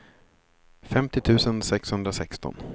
femtio tusen sexhundrasexton